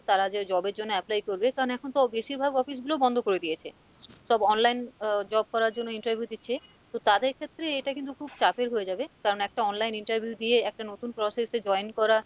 তারা যে job এর জন্য apply করবে কারণ এখন তো বেশিরভাগ office গুলো বন্দ করে দিয়েছে, সব online আহ job করার জন্য interview দিচ্ছে তো তাদের ক্ষেত্রে এটা কিন্তু খুব চাপের হয়ে যাবে কারণ একটা online interview দিয়ে একটা নতুন process এ join করা,